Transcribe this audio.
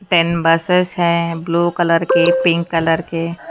ten buses है blue colour के pink colour के--